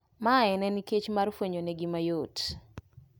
Mae ne nikech mar fwenyo negi mayot